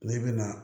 N'i bɛna